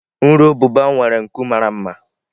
Nru ububa nwere nku mara mma.